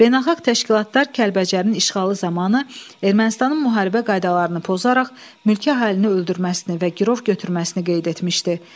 Beynəlxalq təşkilatlar Kəlbəcərin işğalı zamanı Ermənistanın müharibə qaydalarını pozaraq mülki əhalini öldürməsini və girov götürməsini qeyd etmişdi.